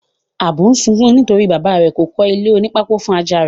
Ábú n sokún nítorípé bàba rè kò kólé oní pákó fun Ajá rẹ́.